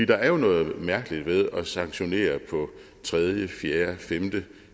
der er jo noget mærkeligt ved at sanktionere på tredje fjerde femte og